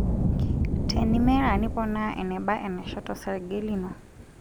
Tenimera, niponaa eneba enaisho tosrge lino.